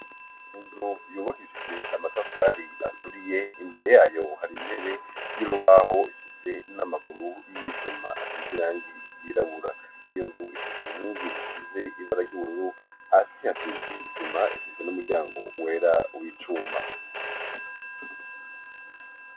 Inzu yubakishije amatafari aturiye ,imbere yayo hari intebe y'urubaho ifise n'amaguru iy'ivyuma asize irangi ryirabura ,iyo nzu ifise inkingi zisize ibara ry'ubururu ,hasi hasize isima ,ifise n'umuryango wera w'icuma.